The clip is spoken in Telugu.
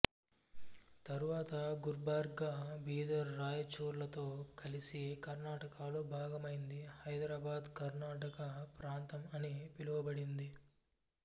తరువాత గుల్బర్గా బీదర్ రాయచూర్లతో కలిసి కర్ణాటకలో భాగమైంది హైదరాబాద్కర్ణాటక ప్రాంతం అని పిలువబడింది